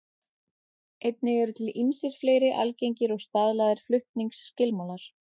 Einnig eru til ýmsir fleiri algengir og staðlaðir flutningsskilmálar.